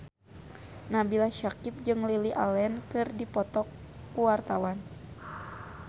Nabila Syakieb jeung Lily Allen keur dipoto ku wartawan